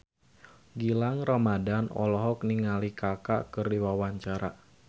Gilang Ramadan olohok ningali Kaka keur diwawancara